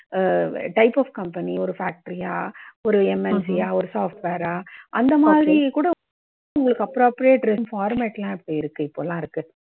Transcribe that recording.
Ah type of company ஒரு factory யா ஒரு MNC யா? ஒரு software ஆ? அந்த மாதிரி கூட உங்களுக்கு appropriate format எல்லாம் இருக்கு இப்போல்லாம் இருக்கு.